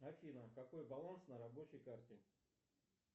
афина какой баланс на рабочей карте